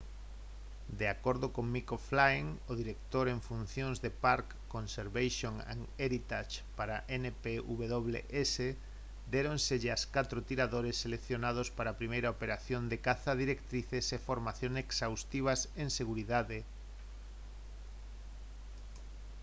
de acordo con mick o'flynn o director en funcións de park conservation and heritage para npws déronselle aos catro tiradores seleccionados para a primeira operación de caza directrices e formación exhaustivas en seguridade